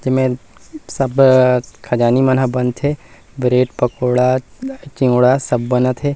जेमे सब आ खजानी मन ह बनथे ब्रेड पकोड़ा चिउड़ा सब बनत हे।